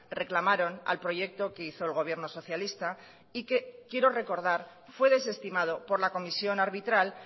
reclamaron al proyecto que hizo el gobierno socialista y que quiero recordar fue desestimado por la comisión arbitral